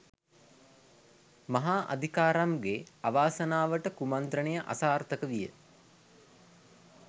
මහා අදිකාරම් ගේ අවාසනාවට කුමන්ත්‍රණය අසාර්ථක විය